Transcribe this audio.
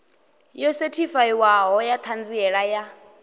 yo sethifaiwaho ya ṱhanziela ya